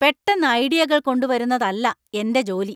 പെട്ടെന്ന് ഐഡിയകള്‍ കൊണ്ടുവരുന്നതല്ല എന്‍റെ ജോലി.